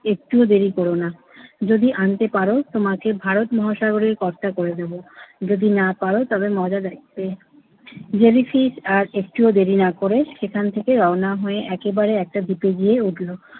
একটুও দেরি করো না। যদি আনতে পারো তোমাকে ভারত মহাসাগরে কর্তা করে দেবো। যদি না পারো তবে মজা দেখবে। জেলিফিশ আর একটু ও দেরি না করে সেখান থেকে রওনা হয়ে একবারে একটা দ্বীপে গিয়ে উঠলো